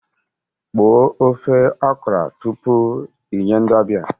Kpoo ofe okra tupu i nye ndị ọbịa